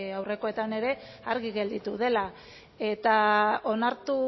aurrekoetan ere argi gelditu dela eta onartu